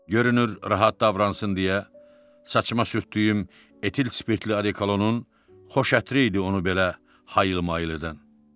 Görünür rahat davransın deyə, saçıma sürtdüyüm etil spirtli odekolonun xoş ətri idi onu belə hayıl-mayıldan.